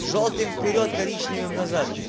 жёлтым вперёд коричневым назад